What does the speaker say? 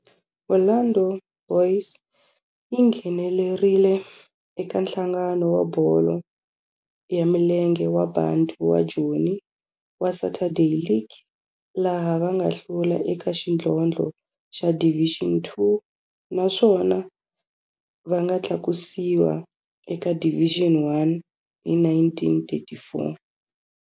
Orlando Boys yi nghenelerile eka Nhlangano wa Bolo ya Milenge wa Bantu wa Joni wa Saturday League, laha va nga hlula eka xidlodlo xa Division Two naswona va nga tlakusiwa eka Division One hi 1944.